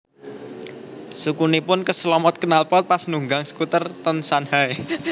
Sukunipun keslomot knalpot pas nunggang skuter ten Shanghai